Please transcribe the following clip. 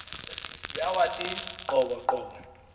yawathi qobo qobo